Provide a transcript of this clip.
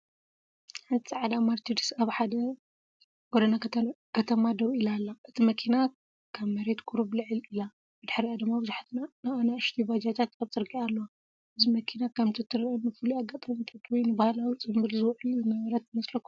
ሓንቲ ጻዕዳ መርሰድስ ኣብ ሓደ ጎደና ከተማ ደው ኢላ ኣላ። እታ መኪና ካብ መሬት ቁሩብ ልዕል ኢላ፡ ብድሕሪኣ ድማ ብዙሓት ንኣሽቱ ባጃጃት ኣብ ጽርግያ ኣለዋ። እዛ መኪና ከምቲ ትረአ ንፍሉይ ኣጋጣሚታት ወይ ንባህላዊ ጽምብል ዝውዕል ዝነበረት ትመስለኩም?